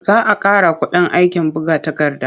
Za a ƙara kuɗin aikin buga takarda.